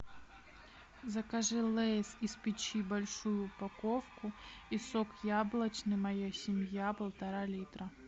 закажи лейс из печи большую упаковку и сок яблочный моя семья полтора литра